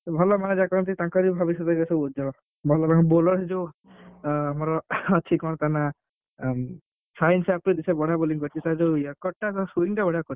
ଭଲ ମାନେ ଯାହା କରନ୍ତି ମାନେ ତାଙ୍କର ବି ଭବିଷ୍ୟତ ସବୁ ଉଜ୍ଜ୍ଵଳ ଭଲ ତାଙ୍କର bowler ସେ ଯୋଉ ଆଁ ଆମର ଅଛି କଣ ତା ନାଁ ଉଁ ସାହୀନ ସେ ଯୋଉ ବଢିଆ bowling କରିଛି, ତାରଯୋଉ ଟା spin ଟା ବଢିଆ କରିଛି।